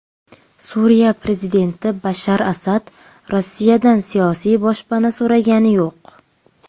Suriya prezidenti Bashar Asad Rossiyadan siyosiy boshpana so‘ragani yo‘q.